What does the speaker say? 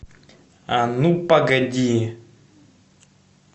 а ну погоди